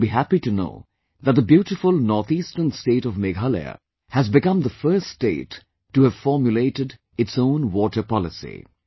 And you will be happy to know that the beautiful North Eastern State of Meghalaya has become the first state to have formulated its own waterpolicy